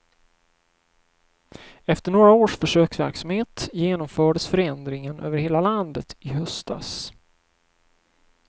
Efter några års försöksverksamhet genomfördes förändringen över hela landet i höstas.